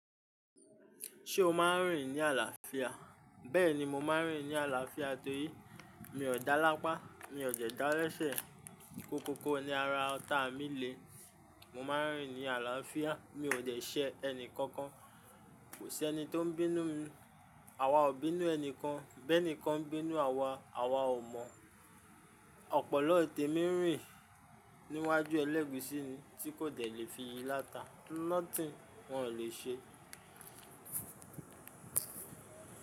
Ṣé o máa ń rìn ní àlàáfíà? Bẹ́ẹ̀ni mo máa ń rìn ní àlàáfíà torí mi ò dá lápá, mi ò dẹ́ dalẹ́sẹ̀. Kókó ko ni ara ọta mi le. Mo máa ń rìn ní àlàáfíà, mi ò jẹṣẹ́ ẹnìkankan, kò sí ẹni tó ń bínú mi, àwa ò bínú ẹnikẹ́ni, bẹ́ẹ̀ nìkan bínú wa, àwa ò mọ̀. Ọpọlọ ìtẹ̀ mi ń rìn níwájú ẹlẹ́gùúsí ni ti kò jẹ́ le fi yí láta. Nothing wọ́n lè ṣe.